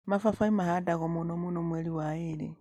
mababaĩ mahandagwo mũno mũno mweri wa ĩrĩ.